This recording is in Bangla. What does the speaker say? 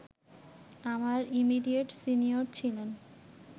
আমার ইমিডিয়েট সিনিয়র ছিলেন